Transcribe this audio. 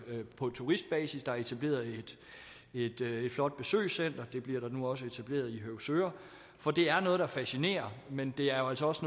på turistbasis der er etableret et flot besøgscenter det bliver der nu også etableret i høvsøre for det er noget der fascinerer men det er jo altså også